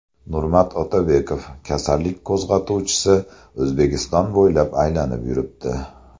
Nurmat Otabekov: Kasallik qo‘zg‘atuvchisi O‘zbekiston bo‘ylab aylanib yuribdi.